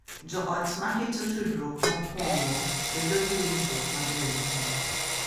Jo ot ma keto tudruok mokuongo bedo gi winjruok maber e chuny,